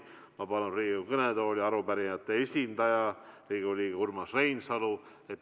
Ma palun Riigikogu kõnetooli arupärimist tutvustama arupärijate esindaja Urmas Reinsalu.